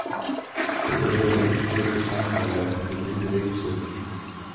þau eru að ýmsu leyti sambærileg við minni reikistjörnur